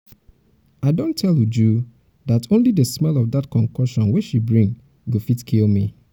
i don tell uju dat only the smell of dat concoction wey she bring go fit kill me